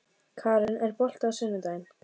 Kara, er bolti á sunnudaginn?